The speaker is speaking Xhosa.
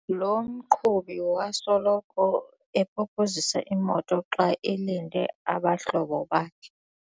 Lo mqhubi wasoloko epopozisa imoto xa elinde abahlobo bakhe.